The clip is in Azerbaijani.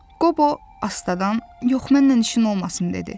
Qobo astadan, yox mənlə işin olmasın dedi.